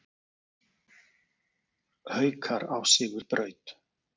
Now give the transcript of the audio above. Haukar á sigurbraut